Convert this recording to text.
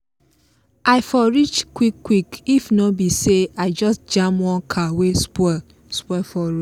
i for reach quick quick if no be say i just jam one car wey spoil spoil for road